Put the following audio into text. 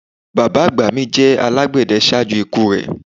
Bàbá àgbà mi jẹ alágbède ṣaaju iku rẹ